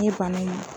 N ye bana in